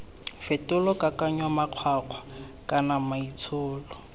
fetola kakanyo makgwakgwa kana maitsholo